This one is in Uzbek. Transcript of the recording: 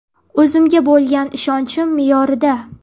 O‘zimga bo‘lgan ishonchim me’yorida.